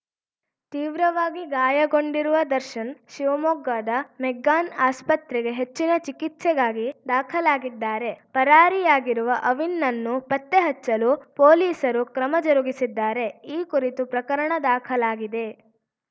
ತೀವ್ರವಾಗಿ ಗಾಯಗೊಂಡಿರುವ ದರ್ಶನ್‌ ಶಿವಮೊಗ್ಗದ ಮೆಗ್ಗಾನ್‌ ಆಸ್ಪತ್ರೆಗೆ ಹೆಚ್ಚಿನ ಚಿಕಿತ್ಸೆಗಾಗಿ ದಾಖಲಾಗಿದ್ದಾರೆ ಪರಾರಿಯಾಗಿರುವ ಅವಿನ್‌ನನ್ನು ಪತ್ತೆಹಚ್ಚಲು ಪೊಲೀಸರು ಕ್ರಮ ಜರುಗಿಸಿದ್ದಾರೆ ಈ ಕುರಿತು ಪ್ರಕರಣ ದಾಖಲಾಗಿದೆ